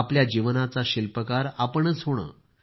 आपल्या जीवनाचं शिल्पकार आपणच होणं